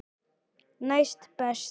Næst best.